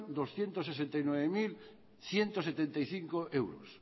doscientos sesenta y nueve mil ciento setenta y cinco euros